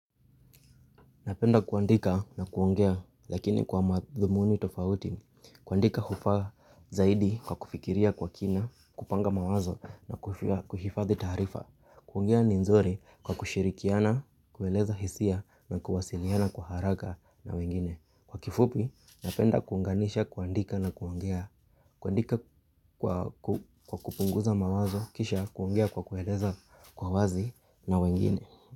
Napenda kuandika na kuongea lakini kwa madhumuni tofauti. Kuandika hufa zaidi kwa kufikiria kwa kina, kupanga mawazo na kuhifadhi tarifa. Kuongea ni nzuri kwa kushirikiana, kueleza hisia na kuwasiliana kwa haraka na wengine. Kwa kifupi, napenda kuunganisha kuandika na kuongea. Kuandika kwa kupunguza mawazo, kisha kuongea kwa kueleza kwa wazi na wengine.